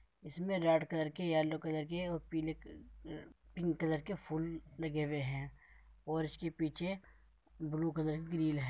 इसमें red colour के yellow colour के और पीले क पिंक कलर के फूल लगे हुए हैं और उसके पीछे ब्लू कलर के ग्रिल है।